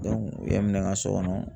u ye n minɛ n ka so kɔnɔ.